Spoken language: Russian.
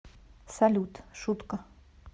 салют шутка